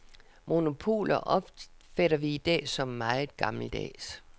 Monopoler opfatter vi i dag som meget gammeldags.